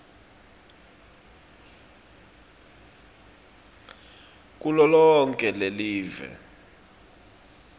kulo lonkhe lelive